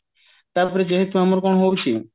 ତା ପରେ ଯେହେତୁ ଆମର କଣ ହୋଉଛି